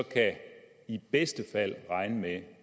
i bedste fald kan regne med